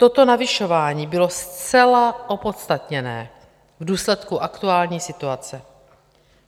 Toto navyšování bylo zcela opodstatněné v důsledku aktuální situace.